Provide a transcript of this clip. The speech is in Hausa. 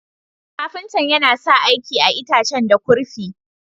Ƙafintan yana sa aiki a'itacen da kurfi.